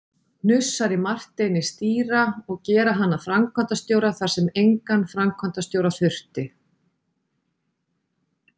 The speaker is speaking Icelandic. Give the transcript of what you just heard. hnussar í Marteini stýra, og gera hann að framkvæmdastjóra þar sem engan framkvæmdastjóra þurfti.